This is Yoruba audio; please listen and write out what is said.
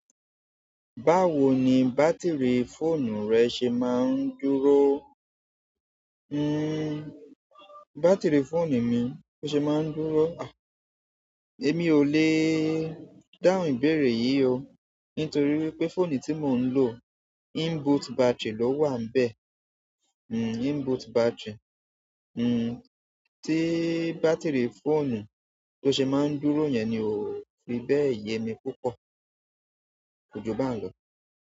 Báwo ni bátìrì fóònù rẹ ṣe máa ń dúró? Hmm, bátìrì fóònù mi bó ṣe máa ń dúró? Àh, èmi ò le dáhùn ìbéèrè yìí o, nítorí wípé fóònù tí mò ń lò inbuilt battery ló wà n íbẹ̀. Hmm, inbuilt battery. Hmm, tí bátìrì fóònù tó ṣe máa ń dúró yẹn ni ò fi bẹ́ẹ̀ yemi púpọ̀. Kóju ba ń lọ.